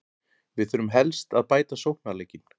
Við þurfum helst að bæta sóknarleikinn.